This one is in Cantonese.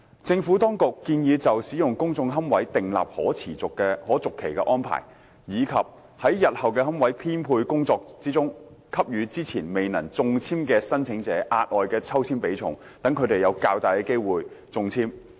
政府當局建議就使用公眾龕位訂立可續期安排，以及在日後的龕位編配工作中，給予之前未能中籤的申請者額外的抽籤比重，讓他們有較大的中籤機會。